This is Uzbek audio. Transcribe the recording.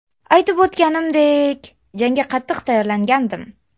Aytib o‘tganimdek, jangga qattiq tayyorlangandim.